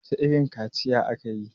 wacece irin kaciya aka yi!